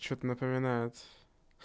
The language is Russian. что-то напоминает